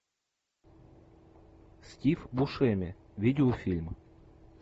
стив бушеми видеофильм